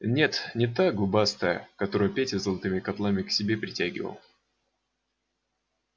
нет не та губастая которую петя золотыми котлами к себе притягивал